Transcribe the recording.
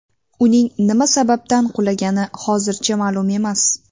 Uning nima sababdan qulagani hozircha ma’lum emas.